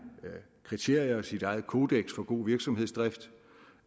kriterier og sit eget kodeks for god virksomhedsdrift